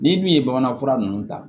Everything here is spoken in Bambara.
Ni min ye bamanan fura ninnu ta